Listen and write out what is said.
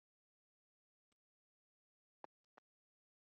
Leiddist Ormi þófið.